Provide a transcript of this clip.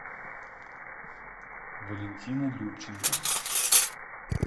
валентина любченко